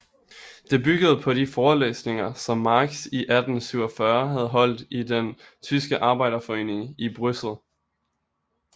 Det byggede på de forelæsninger som Marx i 1847 havde holdt i den tyske arbejderforeningen i Bryssel